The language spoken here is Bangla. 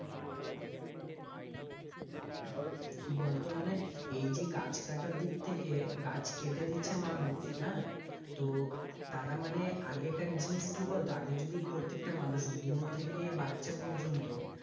কি বলতো মানে এই যে গাছ কাটা দিক থেকে গাছ কেটে দিচ্ছে মানুষ হ্যাঁ তো তারা মানে আগেকার জিনিস কি বলতো? আগে যদি প্রত্যেকটা মানুষ বুড়ো থেকে বাচ্চা পর্যন্ত,